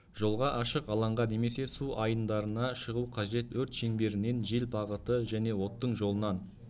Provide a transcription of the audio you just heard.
жолға ашық алаңға немесе су айындарына шығу қажет өрт шеңберінен жел бағыты және оттың жолынан